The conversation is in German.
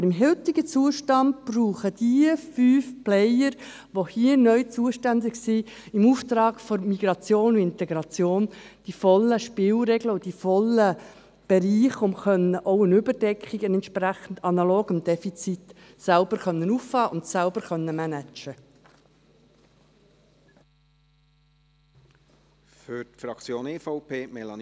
Aber beim heutigen Zustand brauchen diese fünf Player, welche hier neu im Auftrag der Migration und Integration zuständig sind, die vollständigen Spielregeln und die ganzen Bereiche, um auch eine Überdeckung, um analog das Defizit selbst auffangen und managen zu können.